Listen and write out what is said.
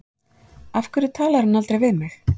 Af hverju talar hann aldrei við mig?